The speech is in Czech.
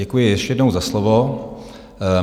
Děkuji ještě jednou za slovo.